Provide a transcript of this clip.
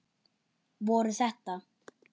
Voru þetta.